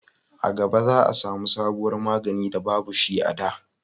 a gaba za a samu sabuwar magani da babu shi a da